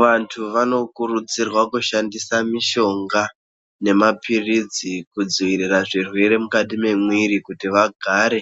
Vanthu vanokurudzirwe kushandise mishonga nemaphirizi, kudziirire zvirwere mukati mwemwiri. Kuti vagare